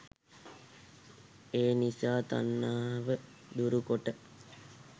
එනිසා තණ්හාව දුරුකොට